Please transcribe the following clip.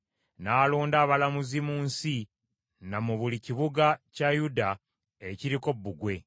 N’alonda abalamuzi mu nsi, ne mu buli kibuga kya Yuda ekiriko Bbugwe.